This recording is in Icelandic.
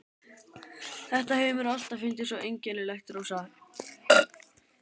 Þetta hefur mér alltaf fundist svo einkennilegt, Rósa.